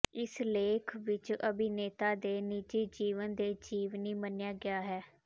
ਇਸ ਲੇਖ ਵਿਚ ਅਭਿਨੇਤਾ ਦੇ ਨਿੱਜੀ ਜੀਵਨ ਦੇ ਜੀਵਨੀ ਮੰਨਿਆ ਗਿਆ ਹੈ